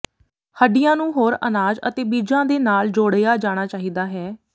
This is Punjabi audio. ਹੱਡੀਆਂ ਨੂੰ ਹੋਰ ਅਨਾਜ ਅਤੇ ਬੀਜਾਂ ਦੇ ਨਾਲ ਜੋੜਿਆ ਜਾਣਾ ਚਾਹੀਦਾ ਹੈ